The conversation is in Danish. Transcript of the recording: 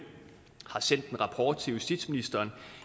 har sendt en rapport til justitsministeren